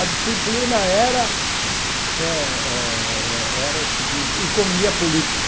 A disciplina era eh eh era o seguinte, economia política.